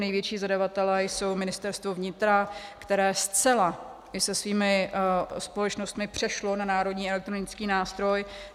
Největší zadavatelé jsou Ministerstvo vnitra, které zcela i se svými společnostmi přešlo na Národní elektronický nástroj.